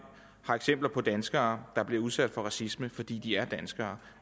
har eksempler på danskere der bliver udsat for racisme fordi de er danskere